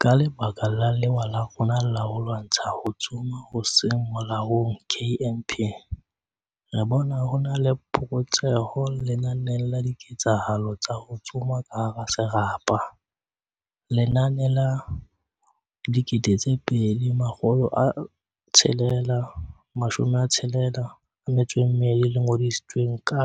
"Ka lebaka la lewa la rona la ho lwantsha ho tsoma ho seng molaong KNP, re bona ho na le phokotseho lenaneng la diketsahalo tsa ho tsoma ka hara serapa, ka lenane la 2662 le ngodisitsweng ka